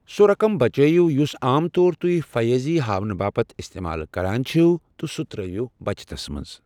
سُہ رقم بچٲیِو یُس عام طور تہۍ فیٲضی ہاونہٕ باپتھ استعمال كران چھِوٕ تہٕ سہُ ترٛٲوِو بچتس منٛز۔